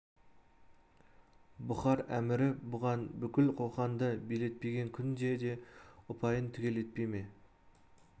бұхар әмірі бұған бүкіл қоқанды билетпеген күнде де ұпайын түгел етпей ме